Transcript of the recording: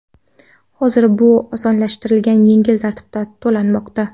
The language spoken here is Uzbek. Hozir bu osonlashtirilgan yengil tartibda to‘lanmoqda.